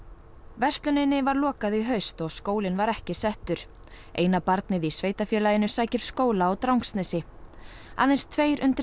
versluninni var lokað í haust og skólinn var ekki settur eina barnið í sveitarfélaginu sækir skóla á Drangsnesi aðeins tveir undir